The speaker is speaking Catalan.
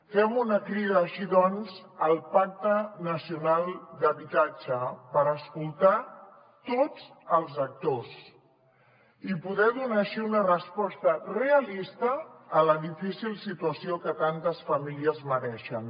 fem una crida així doncs al pacte nacional d’habitatge per escoltar tots els actors i poder donar així una resposta realista a la difícil situació que tantes famílies mereixen